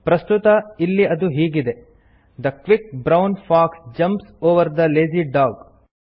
ಪ್ರಸ್ತುತ ಇಲ್ಲಿ ಅದು ಹೀಗಿದೆ the quick brown fox jumps over the lazy dog